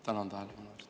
Tänan tähelepanu eest!